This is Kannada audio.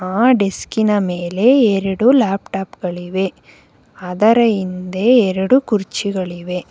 ಆ ಡೆಸ್ಕಿನ ಮೇಲೆ ಎರಡು ಲ್ಯಾಟ್ಟಾಪ್ಗಳಿವೆ ಅದರ ಹಿಂದೆ ಎರಡು ಕುರ್ಚಿಗಳಿವೆ.